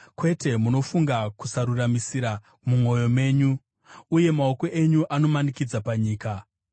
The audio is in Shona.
Kwete, munofunga kusaruramisira mumwoyo menyu, uye maoko enyu anomanikidza panyika.